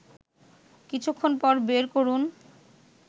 কিছুক্ষণ পর বের করুন